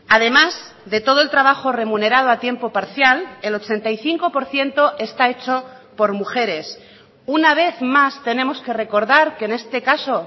además de todo el trabajo remunerado a tiempo parcial el ochenta y cinco por ciento está hecho por mujeres una vez más tenemos que recordar que en este caso